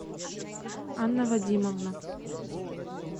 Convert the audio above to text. анна вадимовна